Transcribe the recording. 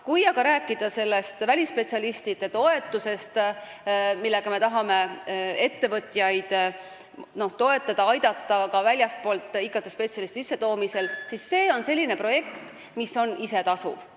Kui rääkida sellest välisspetsialistide toetusest, millega me tahame ettevõtjaid aidata väljastpoolt IT-spetsialistide sissetoomisel, siis see projekt on isetasuv.